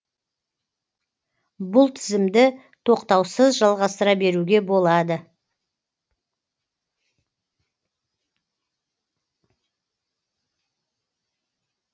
бұл тізімді тоқтаусыз жалғастыра беруге болады